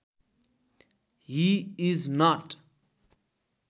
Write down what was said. he is not